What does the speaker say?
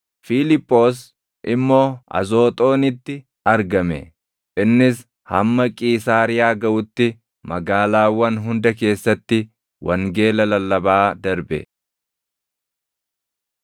Fiiliphoos immoo Azooxoonitti argame; innis hamma Qiisaariyaa gaʼutti magaalaawwan hunda keessatti wangeela lallabaa darbe.